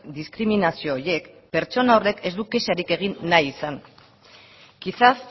diskriminazio horiek pertsona horrek ez du kexarik egin nahi izan quizás